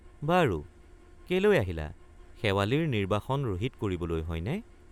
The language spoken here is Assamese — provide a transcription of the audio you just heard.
বাৰু কেলৈ আহিলা শেৱালিৰ নিৰ্ব্বাসন ৰহিত কৰিবলৈ হয়নে?